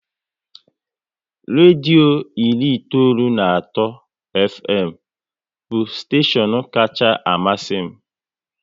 Redio iri itoolu na atọ Fm bụ steshion kacha amasị m